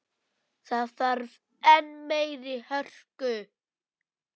Það þarf enn meiri hörku!